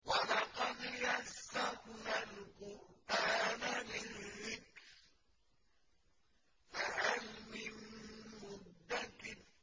وَلَقَدْ يَسَّرْنَا الْقُرْآنَ لِلذِّكْرِ فَهَلْ مِن مُّدَّكِرٍ